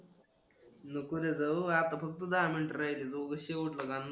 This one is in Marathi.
नको रे जाऊ आता फक्त दहा मिनिटं राहिले.